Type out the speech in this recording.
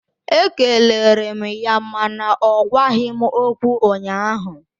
Ekelere m ya mana ọ gwaghị m okwu ụnyaahụ